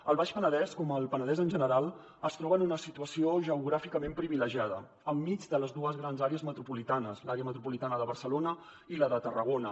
el baix penedès com el penedès en general es troba en una situació geogràficament privilegiada enmig de les dues grans àrees metropolitanes l’àrea metropolitana de barcelona i la de tarragona